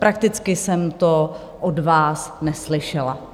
Prakticky jsem to od vás neslyšela.